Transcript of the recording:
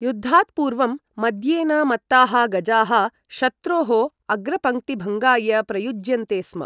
युद्धात् पूर्वं मद्येन मत्ताः गजाः शत्रोः अग्रपङ्क्तिभङ्गाय प्रयुज्यन्ते स्म।